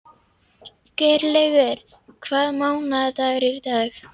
Geirlaugur, hvaða mánaðardagur er í dag?